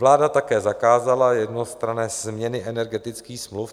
Vláda také zakázala jednostranné změny energetických smluv.